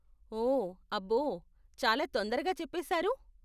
ఓ, అబ్బో, చాలా తొందరగా చెప్పేశారు!